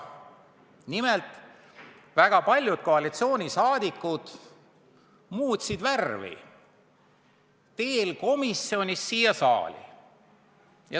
Nimelt, väga paljud koalitsiooniliikmed muutsid teel komisjonist siia saali värvi.